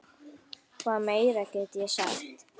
Hvað meira get ég sagt?